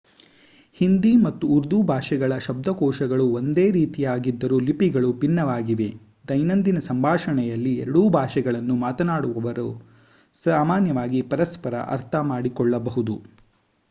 ಹಿಂದಿ ಮತ್ತು ಉರ್ದು ಭಾಷೆಗಳ ಶಬ್ದಕೋಶಗಳು ಒಂದೇ ರೀತಿಯಾಗಿದ್ದರೂ ಲಿಪಿಗಳು ಭಿನ್ನವಾಗಿವೆ ದೈನಂದಿನ ಸಂಭಾಷಣೆಯಲ್ಲಿ ಎರಡೂ ಭಾಷೆಗಳನ್ನು ಮಾತನಾಡುವವರು ಸಾಮಾನ್ಯವಾಗಿ ಪರಸ್ಪರ ಅರ್ಥಮಾಡಿಕೊಳ್ಳಬಹುದು